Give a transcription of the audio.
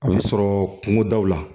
A bɛ sɔrɔ kungodaw la